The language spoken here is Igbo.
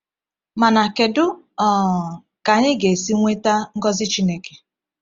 Mana kedu um ka anyị ga-esi nweta ngọzi Chineke?